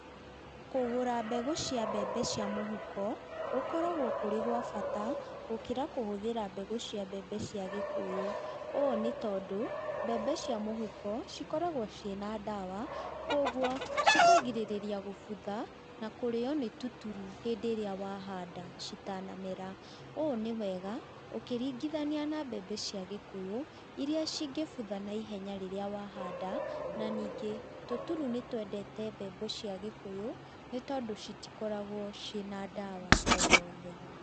Kũgũra mbegũ cia mbembe cia mũhuko gũkoragwo kũrĩ gwa bata gũkĩra kũhũthĩra mbegũ cia mbembe cia gĩkũyũ. Ũũ nĩ tondũ mbembe cia mũhuko cikoragwo ciĩ na ndawa, kũoguo cikagirĩrĩria gũbutha na kũrĩo nĩ tũturu hĩndĩ ĩrĩa wahanda citanamera. Ũũ nĩ wega ũkĩringithania na mbembe cia ũgĩkũyũ iria ingĩbutha na ihenya rĩrĩa wahanda, na ningĩ tũturu nĩ twendete mbembe cia ũgĩkũyũ nĩ tondũ citikoragwo ciĩ na ndawa oyothe.